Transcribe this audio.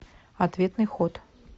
ответный ход